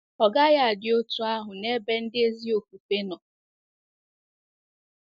Ọ gaghị adi otú ahụ n’ebe ndị ezi ofufe nọ.